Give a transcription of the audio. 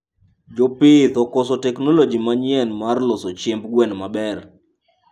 Jopith okoso teknology manyien mar loso chiemb gwen maber